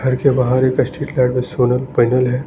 घर के बाहर एक स्टील रॉड सोलर पैनल है।